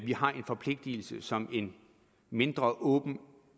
har en forpligtelse som en mindre og åben